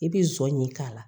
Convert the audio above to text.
I bi zɔɲin k'a la